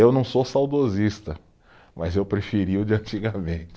Eu não sou saudosista, mas eu preferia o de antigamente.